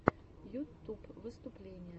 ютуб выступления